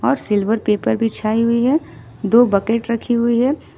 और silver paper बिछाई हुई है दो बकेट रखी हुई है।